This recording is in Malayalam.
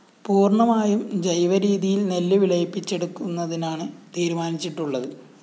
പൂര്‍ണമായും ജൈവ രീതിയില്‍ നെല്ല് വിളയിപ്പിച്ചെടുക്കുന്നതിനാണ് തീരുമാനിച്ചിട്ടുള്ളത്